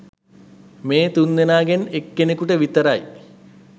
මේ තුන්දෙනාගෙන් එක් කෙනෙකුට විතරයි.